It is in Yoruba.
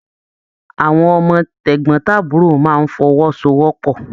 Àwọn ọmọ tegbọn-taburo máa n f'ọwósowọ́pọ́.